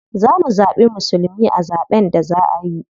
Za mu zaɓi musulmi a zaɓen da za a yi.